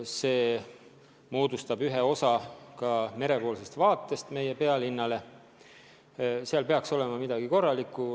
See moodustab ühe osa merepoolsest vaatest meie pealinnale ja seal peaks olema midagi korralikku.